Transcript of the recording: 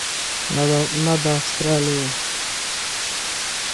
над австралией